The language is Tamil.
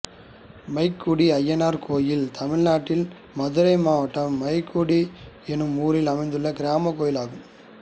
மைக்குடி அய்யனார் கோயில் தமிழ்நாட்டில் மதுரை மாவட்டம் மைக்குடி என்னும் ஊரில் அமைந்துள்ள கிராமக் கோயிலாகும்